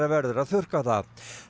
verður að þurrka það